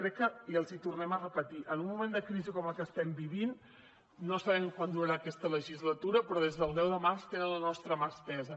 crec que i els hi tornem a repetir en un moment de crisi com el que estem vivint no sabem quant durarà aquesta legislatura però des del deu de març tenen la nostra mà estesa